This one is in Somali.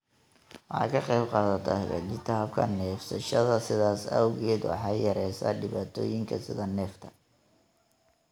Waxay ka qaybqaadataa hagaajinta habka neefsashada, sidaas awgeed waxay yareysaa dhibaatooyinka sida neefta.